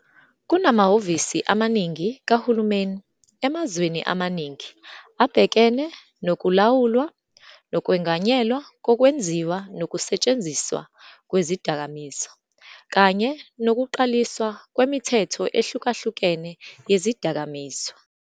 Kunamahhovisi amaningi kahulumeni emazweni amaningi abhekene nokulawulwa nokwenganyelwa kokwenziwa nokusetshenziswa kwezidakamizwa, kanye nokuqaliswa kwemithetho ehlukahlukene yezidakamizwa.